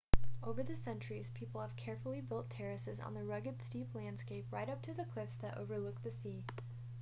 over the centuries people have carefully built terraces on the rugged steep landscape right up to the cliffs that overlook the sea